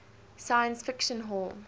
science fiction hall